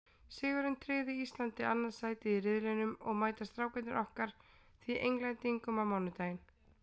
Sigurinn tryggði Íslandi annað sætið í riðlinum og mæta Strákarnir okkar því Englendingum á mánudaginn.